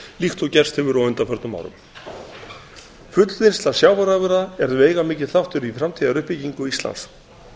líkt og gerst hefur á undanförnum árum fullvinnsla sjávarafurða er veigamikill þáttur í framtíðaruppbyggingu íslands